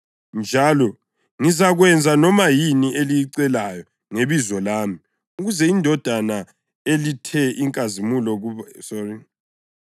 Njalo ngizakwenza noma yini eliyicelayo ngebizo lami ukuze iNdodana ilethe inkazimulo kuBaba.